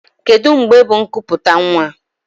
Kedụ mgbe bụ ikuputa nwa?